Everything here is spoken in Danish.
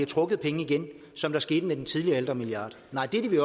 trukket penge igen som det skete med den tidligere ældremilliard nej det